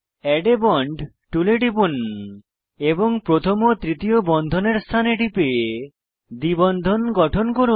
add a bond টুলে টিপুন এবং প্রথম ও তৃতীয় বন্ধনের স্থানে টিপে দ্বিবন্ধন গঠন করুন